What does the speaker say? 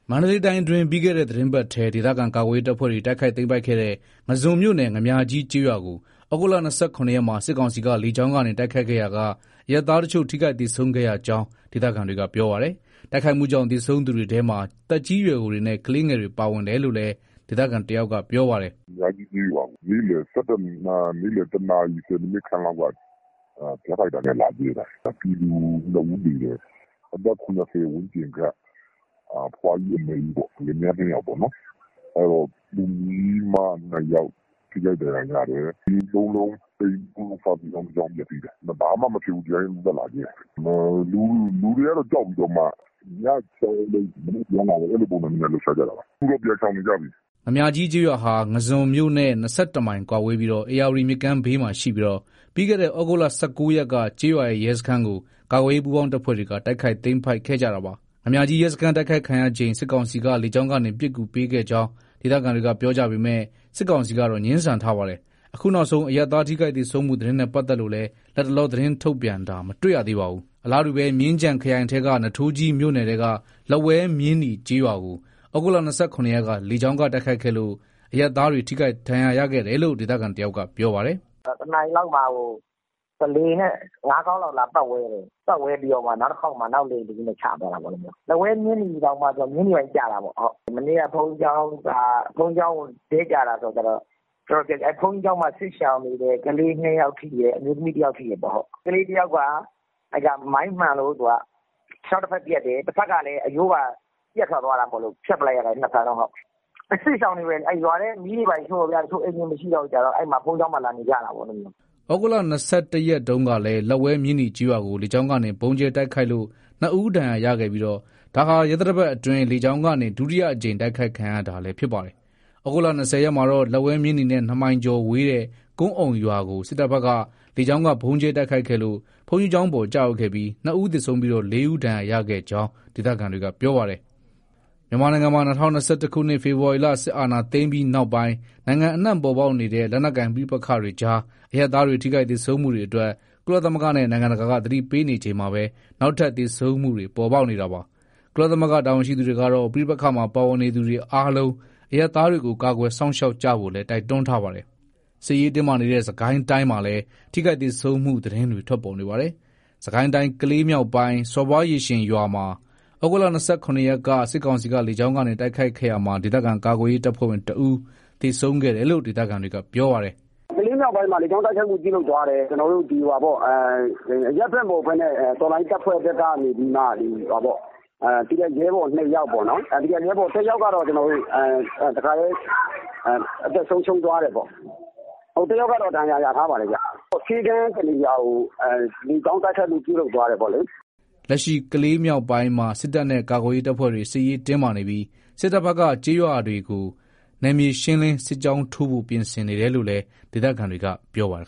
မန္တလေးတိုင်းအတွင်း ပြီးခဲ့တဲ့ သီတင်းပတ်ထဲ ဒေသခံ ကာကွယ်ရေး တပ်ဖွဲ့တွေ တိုက်ခိုက်သိမ်းပိုက်ခဲ့တဲ့ ငါန်းဇွန်မြို့နယ် ငါန်းမြာကြီးကျေးရွာကို သြဂုတ် ၂၇ ရက်မှာ စစ်ကောင်စီက လေကြောင်းကနေ တိုက်ခိုက်ခဲ့ရာက အရပ်သားတချို့ ထိခိုက်သေဆုံးခဲ့ရကြောင်း ဒေသခံတွေက ပြောပါတယ်။ တိုက်ခိုက်မှုကြောင့် သေဆုံးသူတွေထဲမှာ သက်ကြီးရွယ်အိုတွေနဲ့ ကလေးငယ်တွေ ပါဝင်တယ်လို့လည်း ဒေသခံတယောက်က ပြောပါတယ်။ "ငါန်းမြားကြီးကျေးရွာကို နေ့လည် ၁ နာရီခန့်လောက်က ဂျက်ဖိုက်တာနဲ့လာကြဲတာ။ ပြည်သူ ၂ ဦးသေတယ်။အသက် ၇၀ ဝန်းကျင်ခန့် အဖိုးဖွား ၂ ဦးပေါ့။ လင်မယား ၂ ယောက်။ ကလေးမ ၂ ယောက် ထိခိုက်ဒဏ်ရာရတယ်။ အိမ် ၃ လုံး စာသင်ကျောင်း ၁ ကျောင်း ပျက်စီးတယ်။ ဘာမှမဖြစ်ဘဲ ဒီတိုင်းသက်သက် လာကြဲတာ။ လူတွေက ကြောက်ပြီး ညပြန်သွား မနက်ပြန်လာ အဲ့လိုလုပ်တာပေါ့။ အခုတော့ အကုန်လုံးရှောင်နေပြီ။" ငါန်မြားကြီးကျေးရွာဟာ ငါန်းဇွန်မြို့နဲ့ ၂၁ မိုင်ကွာဝေးပြီး ဧရာဝတီမြစ်ဘေးမှာရှိပြီးတော့ ပြီးခဲ့တဲ့ သြဂုတ် ၁၉ ရက်က ကျေးရွာရဲ့ ရဲစခန်းကို ကာကွယ်ရေး ပူးပေါင်းတပ်ဖွဲ့တွေက တိုက်ခိုက်သိမ်းပိုက်ခဲ့ကြတာပါ။ ငါန်းမြားကြီးရဲစခန်း တိုက်ခိုက်ခံရချိန် စစ်ကောင်စီက လေကြောင်းကနေ ပစ်ကူပေးခဲ့ကြောင်း ဒေသခံတွေက ပြောကြပေမဲ့ စစ်ကောင်စီကတော့ ငြင်းဆန်ထားပါတယ်။ အခုနောက်ဆုံး အရပ်သား ထိခိုက်သေဆုံးမှု သတင်းနဲ့ ပတ်သက်လို့လည်း လတ်တလော သတင်းထုတ်ပြန်တာ မတွေ့ရသေးပါဘူး။ အလားတူပဲ မြင်းခြံခရိုင်ထဲက နွားထိုးကြီးမြို့နယ်ထဲက လက်ဝဲ-မြင်းနီ ကျေးရွာကို သြဂုတ် ၂၇ ရက်က လေကြောင်းက တိုက်ခိုက်ခဲ့လို့ အရပ်သားတွေ ထိခိုက်ဒဏ်ရာရခဲ့တယ်လို့ ဒေသခံတယောက်က ပြောပါတယ်။ "၁ နာရီလောက်မှာ လေယာဉ်နဲ့ ၅ ခေါက်လောက် လာပတ်ဝဲတယ်။ နောက်တခေါက်မှာ နောက်လေယာဉ်တစီးနဲ့ ချသွားတာပေါ့။ လက်ဝဲမြင်းနီတောင် မြင်းနီဘက်ကျတာပေါ့။ မနေ့က ဘုန်းကြီးကျောင်းအပေါ် ဒဲ့ကျတာဆိုတော့ ဘုန်းကြီးကျောင်း တော်တော်ပျက်စီးတယ်။ ဘုန်းကြီးကျောင်းမှာ စစ်ရှောင်နေတဲ့ ကလေး ၂ ယောက်ထိတယ်။ အမျိုးသမီး ၁ ယောက်ထိတယ်။ ကလေးတယောက်က မိုင်းမှန်လို့ ခြေထောက် တဖက်ပြတ်တယ်။ တဖက်ကလည်း အရိုးပါပြတ်ထွက်သွားတာမို့လို့ ၂ ဖက်လုံး ဖြတ်လိုက်ရတယ်။ အဲ့စစ်ရှောင်တွေပဲ ရွာထဲက အိမ်တွေ မီးရှို့ခံရတာတော့ အိမ်တွေမရှိတော့ ဘုန်းကြီးကျောင်းလာနေကြတာ။" သြဂုတ် ၂၁ ရက်ကလည်း လက်ဝဲ-မြင်းနီကျေးရွာကို လေကြောင်းကနေ ဗုံးကြဲတိုက်ခိုက်လို့ ၂ ဦး ဒဏ်ရာရခဲ့ပြီးဒါဟာ ရက်သတ္တပတ်အတွင်း လေကြောင်းကနေ ဒုတိယအကြိမ် တိုက်ခိုက်ခံရတာလည်းဖြစ်ပါတယ်။ သြဂုတ် ၂၀ ရက်မှာတော့လက်ဝဲ-မြင်းနီနဲ့ ၂ မိုင်ကျော်ဝေးတဲ့ ကွမ်းအုံရွာကို စစ်တပ်ဘက်က လေကြောင်းကဗုံးကြဲတိုက်ခိုက်ခဲ့လို့ ဘုန်းကြီးကျောင်းပေါ် ကျရောက်ခဲ့ပြီး ၂ ဦးသေဆုံးပြီး ၄ ဦး ဒဏ်ရာရခဲ့ကြောင်း ဒေသခံတွေက ပြောပါတယ်။ မြန်မာနိုင်ငံမှာ ၂၀၂၁ ခုနှစ် ဖေဖော်ဝါရီလ စစ်အာဏာသိမ်းပြီးနောက်ပိုင်း နိုင်ငံအနှံ့ ပေါ်ပေါက်နေတဲ့ လက်နက်ကိုင် ပဋိပက္ခတွေကြား အရပ်သားတွေ ထိခိုက်သေဆုံးမှုတွေအတွက် ကုလသမဂ္ဂနဲ့ နိုင်ငံတကာက သတိပေးနေချိန်မှာပဲ နောက်ထပ် သေဆုံးမှုတွေ ပေါ်ပေါက်နေတာပါ။ ကုလသမဂ္ဂ တာဝန်ရှိသူတွေကတော့ ပဋိပက္ခမှာ ပါဝင်နေသူတွေအားလုံး အရပ်သားတွေကို ကာကွယ်စောင့်ရှောက်ကြဖို့လည်း တိုက်တွန်းထားပါတယ်။ စစ်ရေးတင်းမာနေတဲ့ စစ်ကိုင်းတိုင်းမှာလည်း ထိခိုက်သေဆုံးမှု သတင်းတွေ ထွက်ပေါ်နေပါတယ်။ စစ်ကိုင်းတိုင်း ကလေးမြောက်ပိုင်းက စော်ဘွားရေရှင်ရွာမှာ သြဂုတ် ၂၇ ရက်က စစ်ကောင်စီက လေကြောင်းကနေ တိုက်ခိုက်ခဲ့ရာမှာ ဒေသခံကာကွယ်ရေးတပ်ဖွဲ့ဝင် ၁ ဦးသေဆုံးခဲ့တယ်လို့ ဒေသခံတွေက ပြောပါတယ်။ "ကလေးမြောက်ပိုင်းမှာ လေကြောင်းတိုက်ခိုက်မှု ပြုလုပ်သွားတယ်။ အရပ်ဖက်မဟုတ်ဘဲ တော်လှန်ရေး တပ်ဖွဲ့ဘက်ကနေပြီး ရဲဘော် ၂ ယောက်ပေါ့နော်။ ၁ ယောက်ကတော့ တခါတည်း အသက်ဆုံးရှုံးသွားတယ်ပေါ့။ တယောက်ကတော့ ဒဏ်ရာ ရထားပါတယ်။ ဆေးခန်း တနေရာကို လေကြောင်းတိုက်ခိုက်မှု ပြုလုပ်သွားတယ်ပေါ့လေ။" လက်ရှိကလေးမြောက်ပိုင်းမှာ စစ်တပ်နဲ့ ကာကွယ်ရေး တပ်ဖွဲ့တွေ စစ်ရေးတင်းမာနေပြီး စစ်တပ်ဘက်က ကျေးရွာတွေဘက်ကို နယ်မြေရှင်းလင်း စစ်ကြောင်းထိုးဖို့ ပြင်ဆင်နေတယ်လို့လည်း ဒေသခံတွေက ပြောပါတယ်